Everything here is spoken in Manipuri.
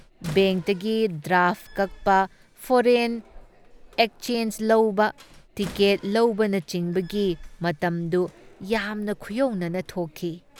ꯕꯦꯡꯛꯇꯒꯤ ꯗ꯭ꯔꯥꯐꯠ ꯀꯛꯄ ꯐꯣꯔꯦꯟ ꯑꯦꯛꯆꯦꯟꯖ ꯂꯧꯕ, ꯇꯤꯀꯦꯠ ꯂꯧꯕꯅꯆꯤꯡꯕꯒꯤ ꯃꯇꯝꯗꯨ ꯌꯥꯝꯅ ꯈꯨꯌꯧꯅꯅ ꯊꯣꯛꯈꯤ ꯫